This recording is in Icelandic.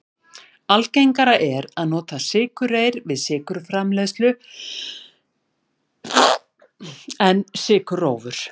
Algengara er að nota sykurreyr til sykurframleiðslu en sykurrófur.